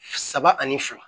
Saba ani fila